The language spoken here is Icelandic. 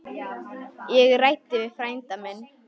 Ég ræddi við frænda minn.